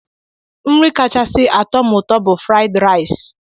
Nri kachasị atọ m ụtọ bụ fraịd rais.